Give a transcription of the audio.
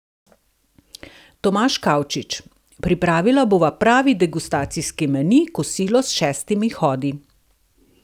Tomaž Kavčič: "Pripravila bova pravi degustacijski meni, kosilo s šestimi hodi.